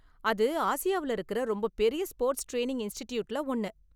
அது ஆசியாவுல இருக்குற ரொம்ப பெரிய ஸ்போர்ட்ஸ் டிரைனிங் இன்ஸ்ட்டிட்யூட்ல ஒன்னு.